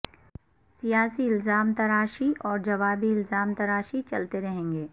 سیاسی الزام تراشی اورجوابی الزام تراشی چلتے رہیں گے